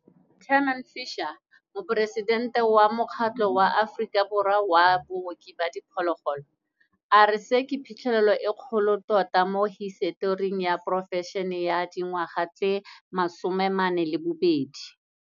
Tamarin Fisher, Moporesitente wa Mokgatlo wa Aforika wa Baoki ba Diphologolo, a re se ke phitlhelelo e kgolo tota mo hisetoring ya porofešene e ya dingwaga tse 42.